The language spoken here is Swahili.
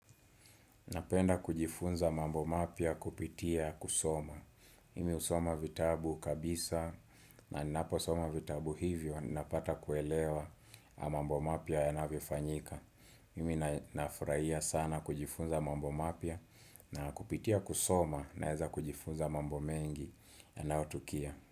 Napenda kujifunza mambo mapya kupitia kusoma. Mimi husoma vitabu kabisa na ninapo soma vitabu hivyo napata kuelewa mambo mapya yanavyofanyika. Mimi nafurahia sana kujifunza mambo mapya na kupitia kusoma naeza kujifunza mambo mengi yanayotukia.